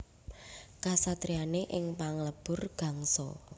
Kasatriyané ing Panglebur Gangsa